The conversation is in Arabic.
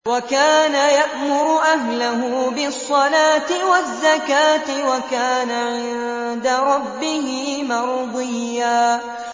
وَكَانَ يَأْمُرُ أَهْلَهُ بِالصَّلَاةِ وَالزَّكَاةِ وَكَانَ عِندَ رَبِّهِ مَرْضِيًّا